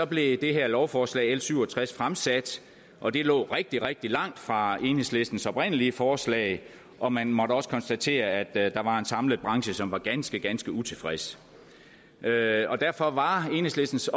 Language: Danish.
blev det her lovforslag l syv og tres fremsat og det lå rigtig rigtig langt fra enhedslistens oprindelige forslag og man måtte også konstatere at der der var en samlet branche som var ganske ganske utilfreds derfor derfor var enhedslistens